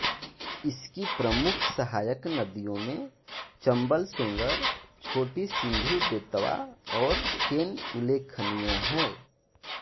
इसकी प्रमुख सहायक नदियों में चम्बल सेंगर छोटी सिन्धु बेतवा और केन उल्लेखनीय हैं